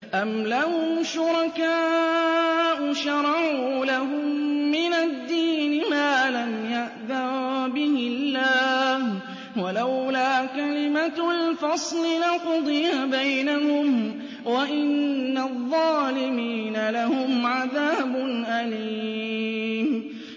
أَمْ لَهُمْ شُرَكَاءُ شَرَعُوا لَهُم مِّنَ الدِّينِ مَا لَمْ يَأْذَن بِهِ اللَّهُ ۚ وَلَوْلَا كَلِمَةُ الْفَصْلِ لَقُضِيَ بَيْنَهُمْ ۗ وَإِنَّ الظَّالِمِينَ لَهُمْ عَذَابٌ أَلِيمٌ